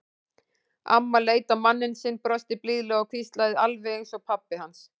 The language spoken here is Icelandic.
Amman leit á manninn sinn, brosti blíðlega og hvíslaði: Alveg eins og pabbi hans.